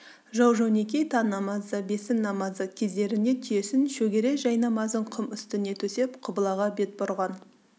жол-жөнекей таң намазы бесін намазы кездерінде түйесін шөгере жайнамазын құм үстіне төсеп құбылаға бет бұрған